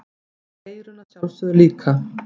Og eyrun að sjálfsögðu líka.